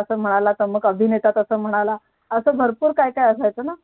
असं म्हनाला नाही तर मग असा म्हणाला अभिनेता तस म्हणाला असं भरपूर काय काय असायचं